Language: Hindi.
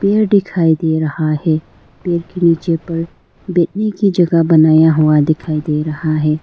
यह दिखाई दे रहा है पेड़ के नीचे पर बैठने की जगह बनाया हुआ दिखाई दे रहा है।